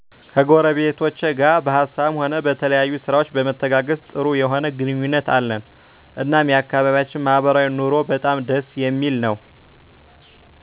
ከጎረቤቶቼ ጋር በሀሳብም ሆነ በተለያየ ስራዎች በመተጋገዝ ጥሩ የሆነ ግንኙነት አለን እናም የአከባቢያችን ማህበራዊ ኑሮ በጣም ደስ የሚል ነወ።